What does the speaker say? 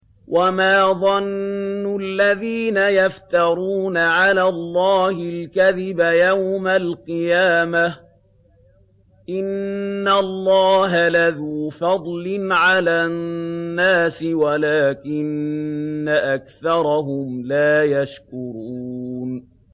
وَمَا ظَنُّ الَّذِينَ يَفْتَرُونَ عَلَى اللَّهِ الْكَذِبَ يَوْمَ الْقِيَامَةِ ۗ إِنَّ اللَّهَ لَذُو فَضْلٍ عَلَى النَّاسِ وَلَٰكِنَّ أَكْثَرَهُمْ لَا يَشْكُرُونَ